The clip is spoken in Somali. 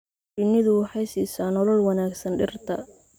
Shinnidu waxay siisaa nolol wanaagsan dhirta.